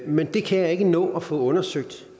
men det kan jeg ikke nå at få undersøgt